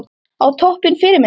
Á toppinn Fyrirmynd?